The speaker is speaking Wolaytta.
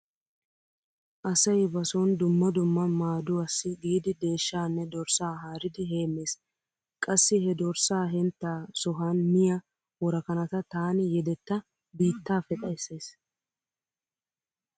Asay ba sooni dumma dumma maaduwassi giidi deeshshaanne dorssaa haaridi heemmees. Qassi he dorssaa henttaa sohan miya worakanata taani yedetta biittaappe xayssays.